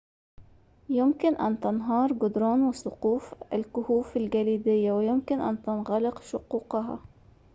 يمكن أن تنهار جدران وسقوف الكهوف الجليدية ويمكن أن تنغلق شقوقها